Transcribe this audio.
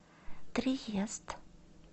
триест